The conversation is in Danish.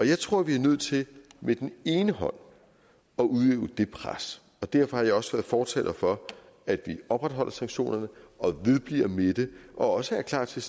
jeg tror vi er nødt til med den ene hånd at udøve det pres og derfor har jeg også været fortaler for at vi opretholder sanktionerne og vedbliver med det og også er klar til